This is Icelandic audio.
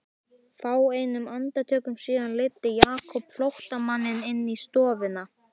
Fáeinum andartökum síðar leiddi Jakob flóttamanninn inn í stofuna.